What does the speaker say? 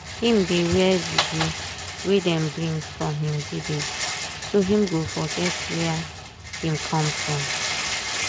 him dey wear juju wey dem bring from him village so him go forget wia him come from.